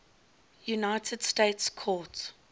united states court